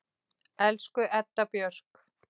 Elsku Edda Björk.